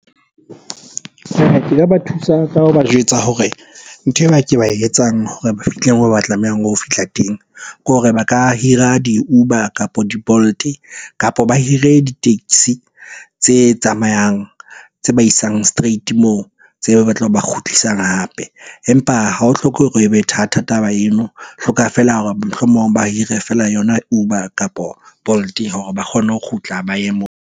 Ba thusa ka ho ba jwetsa hore ntho e ba ke ba e etsang hore ba fihle moo ba tlamehang ho fihla teng, ke hore ba ka hira di-Uber kapo di-Bolt. Kapo ba hire di-taxi tse tsamayang, tse ba isang straight moo tse tlo ba kgutlisang hape. Empa ha ho hlokehe hore e be that taba eno, e hloka feela hore mohlomong ba hire feela yona Uber, kapo Bolt-e hore ba kgone ho kgutla ba ye moo.